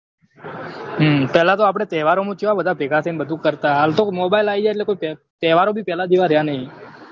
હમ પહેલા તો આપડે તેહવારો માં ચેવા બધા ભેગા થઈને બધું કરતા હાલ તો mobile આયી ગયા એટલે કોઈ તેહવારો બીપહલા જેવા રહ્યા નહી